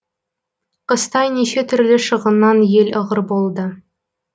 қыстай неше түрлі шығыннан ел ығыр болды